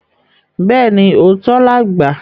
Bẹ́ẹ̀ni, òótọ́ làgbà